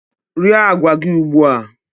Rie agwa gị ugbu a!